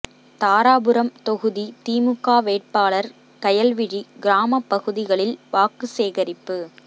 தாராபுரம் தொகுதி திமுக வேட்பாளர் கயல்விழி கிராம பகுதிகளில் வாக்கு சேகரிப்பு